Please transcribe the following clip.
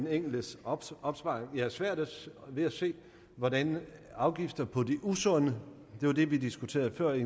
enkeltes opsparing jeg har svært ved at se hvordan afgifter på det usunde det var det vi diskuterede før i